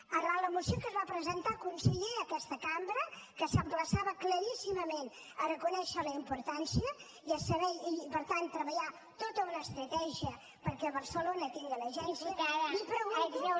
arran de la moció que es va presentar conseller a aquesta cambra que s’emplaçava claríssimament a reconèixer la importància i a saber i per tant treballar tota una estratègia perquè barcelona tingui l’agència li pregunto